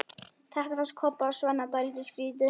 Þetta fannst Kobba og Svenna dálítið skrýtið.